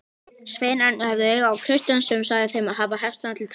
Sveinarnir höfðu auga á Christian sem sagði þeim að hafa hestana til taks.